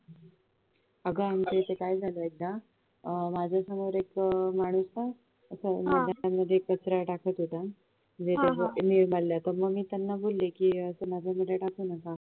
अग आमच्या इथे काय झालं एकदा माझ्या समोर एक माणूस होता तर तो कचरा टाकत होता मी त्यांना बोलली कि टाकू नका